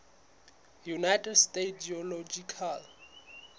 united states geological